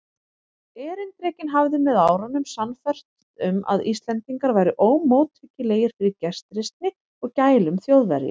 Erindrekinn hafði með árunum sannfærst um, að Íslendingar væru ómóttækilegir fyrir gestrisni og gælum Þjóðverja.